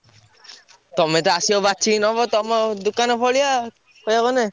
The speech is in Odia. ତମେ ତ ଆସିବ ବାଛିକି ନବ ତମ ଦୋକାନ ଭଳିଆ କହିଆକୁ ଗଲେ।